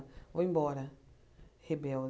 Vou embora,